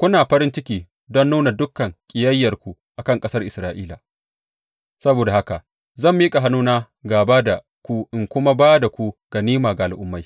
kuna farin ciki don nuna dukan ƙiyayyarku a kan ƙasar Isra’ila, saboda haka zan miƙa hannuna gāba da ku in kuma ba da ku ganima ga al’ummai.